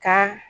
Ka